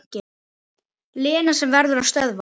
Lena sem verður að stöðva.